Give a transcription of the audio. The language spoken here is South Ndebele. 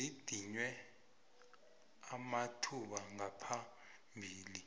zidinywe amathuba ngaphambilini